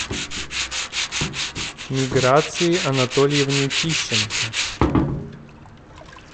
миграции анатольевне тищенко